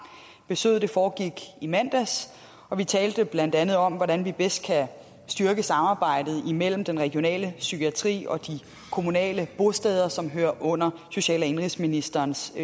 besøget foregik i mandags og vi talte blandt andet om hvordan vi bedst kan styrke samarbejdet imellem den regionale psykiatri og de kommunale bosteder som hører under social og indenrigsministerens